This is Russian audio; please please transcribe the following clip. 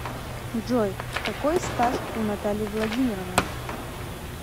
джой какой стаж у натальи владимировны